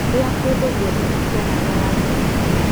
Iia kũndũ guothe na cia namba ya gredi